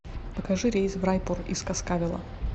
покажи рейс в райпур из каскавела